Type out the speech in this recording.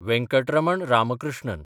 Venkataraman Ramakrishnan